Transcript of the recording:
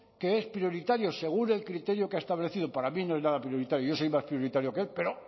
que es prioritario según el criterio que ha establecido para mí no es nada prioritario yo soy más prioritario que él pero